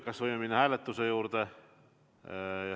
Kas võime minna hääletuse juurde?